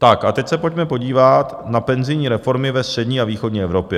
Tak a teď se pojďme podívat na penzijní reformy ve střední a východní Evropě.